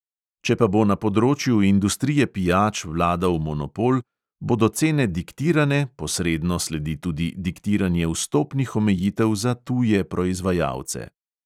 Če pa bo na področju industrije pijač vladal monopol, bodo cene diktirane, posredno sledi tudi diktiranje vstopnih omejitev za tuje proizvajalce.